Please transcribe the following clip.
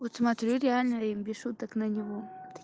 вот смотрю реально и без шуток на него